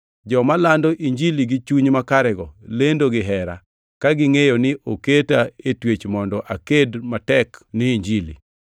Joma lando Injili gi chuny makarego lendo gihera, ka gingʼeyo ni oketa e twech mondo aked matek ni Injili.